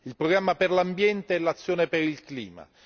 il programma per l'ambiente e l'azione per il clima